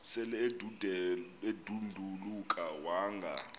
sel edanduluka wanga